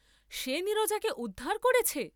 সে নীরজাকে উদ্ধার করেছে?